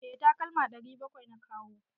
Eh takalma 700 na kawo.